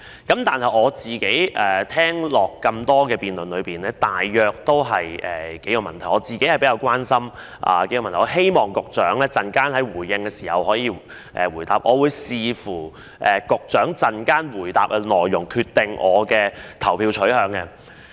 剛才聽了多位議員在辯論中的發言，他們提及的數個問題是我個人比較關心的，也希望局長稍後回應時能夠回答，而我會視乎局長稍後回答的內容來決定我的投票取向。